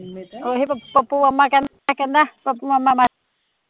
ਓਹੀ ਪੱਪੂ ਮਾਮਾ ਕਹਿੰਦਾ ਪੱਪੂ ਮਾਮਾ